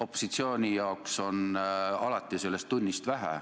Opositsiooni jaoks on alati ettenähtud ajast vähe.